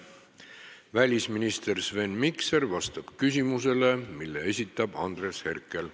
Välisminister Sven Mikser vastab küsimusele, mille esitab Andres Herkel.